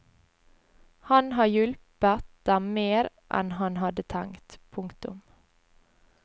Han har hjulpet dem mer enn han hadde tenkt. punktum